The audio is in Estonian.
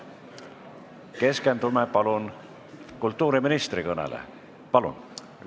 Keskendume palun kultuuriministri kõnele!